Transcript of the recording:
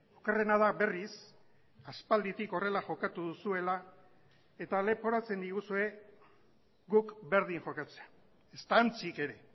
okerrena da berriz aspalditik horrela jokatu duzuela eta leporatzen diguzue guk berdin jokatzea ezta antzik ere